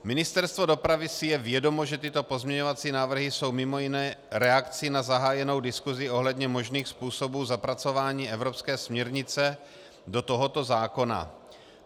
Ministerstvo dopravy si je vědomo, že tyto pozměňovací návrhy jsou mimo jiné reakcí na zahájenou diskusi ohledně možných způsobů zapracování evropské směrnice do tohoto zákona.